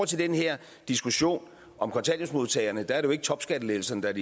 til den her diskussion om kontanthjælpsmodtagerne er det jo ikke topskattelettelserne der er